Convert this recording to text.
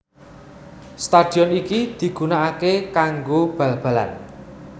Stadion iki digunakake kanggo bal balan